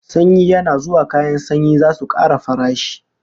Sanyi yana zuwa kayan sanyin zasu kara farashi